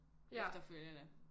Efterfølgende